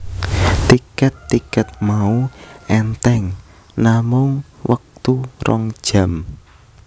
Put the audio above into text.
Tiket tiket mau enteng namung wektu rong jam